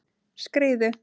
Skriðu